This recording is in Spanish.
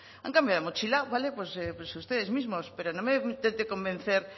han cambiado de mochila vale pues ustedes mismos pero no me intenten convencer